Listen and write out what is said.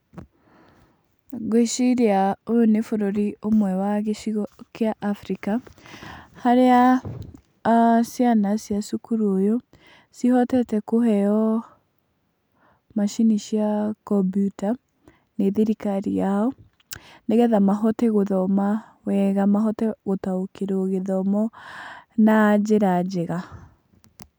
Ngwĩciria ũyũ nĩ bũrũri ũmwe wa gĩcigo kĩa Afrika, harĩa ciana cia cukuru ũyũ cihotete kũheo maacini cia kombiuta nĩ thirikari yao. Nĩ getha mahote gũthoma wega mahote gũtaũkirwo gĩthomo na njĩra njega.